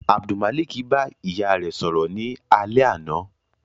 Abdulmalik ba iya rẹ sọrọ ni alẹ ana